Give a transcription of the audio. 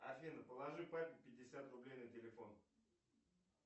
афина положи папе пятьдесят рублей на телефон